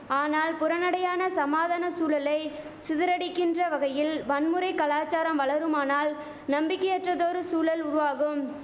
ஆனால் புறநடையான சமாதான சூழலை சிதறடிக்கின்ற வகையில் வன்முறை கலாசாரம் வளருமானால் நம்பிக்கையற்றதொரு சூழல் உருவாகும்